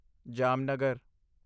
Jamnagar